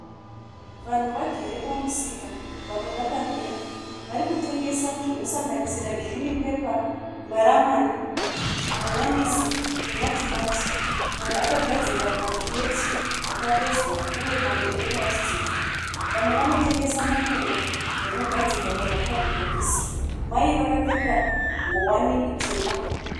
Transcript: Vanhu vagere pamusika vamwe vakamira. Vari kutengesa zvinosanganisira girini pepa, maramani, hanyanisi nematimati. Amwe akagadzikwa mumakireti akavezwa uye mamwe epurasitiki. Vamwe vanotengesa mipunga yakagadzikwa pamakadhibhokisi. Mai vakapfeka ngowani itema.